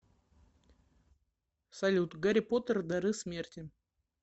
салют гарри поттер дары смерти